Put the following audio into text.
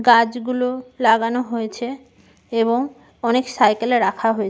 গাছ গুলো লাগানো হয়েছে এবং অনেক সাইকেল এ রাখা হয়েছে ।